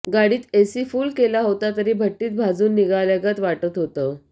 गाडीत AC full केला होता तरी भट्टीत भाजून निघाल्यागत वाटत होतं